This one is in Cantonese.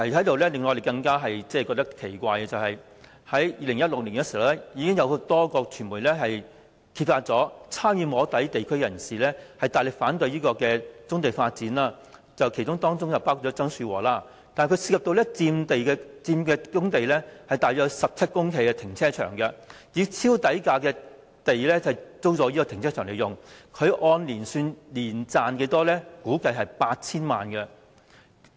另一個令人感到奇怪的問題是 ，2016 年已有多間傳媒揭發，曾參與"摸底"會議、大力反對棕地發展的地區人士曾樹和，以超低呎價租用橫洲棕地內被霸佔的部分官地，經營面積約17公頃的停車場，估計他年賺 8,000 萬元。